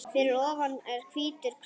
Fyrir ofan er hvítur kross.